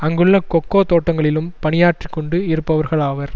அங்குள்ள கொக்கோ தோட்டங்களிலும் பணியாற்றி கொண்டு இருப்பவர்களாவர்